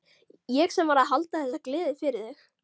Ég sem var að halda þessa gleði fyrir þig!